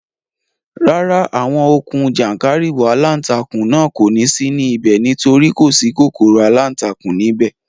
Rárá, àwọn okùn jàńkàrìwọ̀ aláǹtakùn náà kò ní sí ní ibẹ̀ nítorí kò sí kòkòrò aláǹtakùn ní ibẹ̀